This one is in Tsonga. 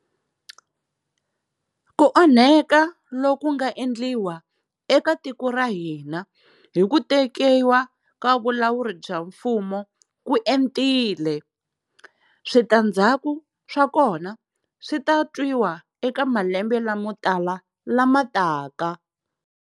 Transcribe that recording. Ku onheka loku nga endliwa eka tiko ra ka hina hi ku tekiwa ka vulawuri bya mfumo ku entile. Switandzhaku swa kona swi ta twiwa eka malembe lamo tala lama taka.